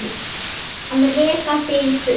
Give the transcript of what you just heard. Að reka þig í burtu!